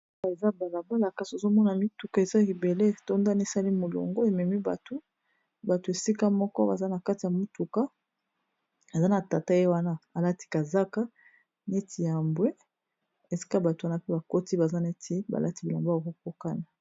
awa eza balabala kasi ozomona mituka eza ebele etondi na molongo ememi bato , bato esika moko baza na kati ya mituka, aza na tata ye wana alati kazaka nieti ya bwe esika bato wana pe bakoti baza neti balati bilamba ya kokokana